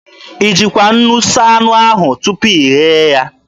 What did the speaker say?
I jikwa nnu saa anụ ahụ tupu ị ghee ya?